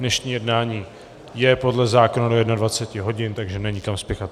Dnešní jednání je podle zákona do 21 hodin, takže není kam spěchat.